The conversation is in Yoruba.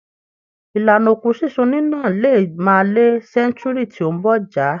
Ìlànà òkú sísun níná lè má la sẹ́ńtúúrì tí ó ń bọ̀ já.